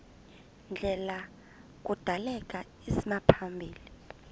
ndlela kudaleka isimaphambili